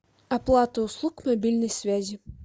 оплата услуг мобильной связи